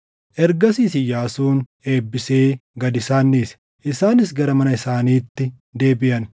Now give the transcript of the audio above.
Ergasiis Iyyaasuun eebbisee gad isaan dhiise; isaanis gara mana isaaniitti deebiʼan.